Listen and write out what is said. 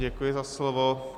Děkuji za slovo.